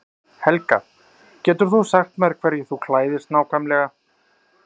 Helga: Getur þú sagt mér hverju þú klæðist nákvæmlega?